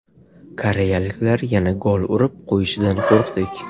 Koreyaliklar yana gol urib qo‘yishidan qo‘rqdik.